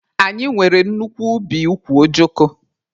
Anyị nwere nnukwu ubi ukwu ojoko